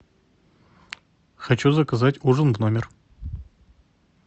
хочу заказать ужин в номер